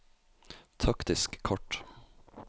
taktisk kart